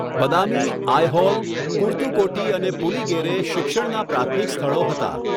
બદામી, આયહોલ, કુર્તુકોટી અને પુલિગેરે શિક્ષણના પ્રાથમિક સ્થળો હતા.